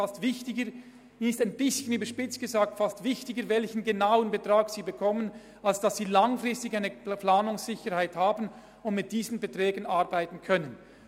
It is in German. Den Hochschulen ist es, überspitzt gesagt, fast weniger wichtig zu wissen, welchen Betrag sie genau bekommen, als eine langfristige Planungssicherheit zu haben und mit einem bestimmten Betrag rechnen zu können.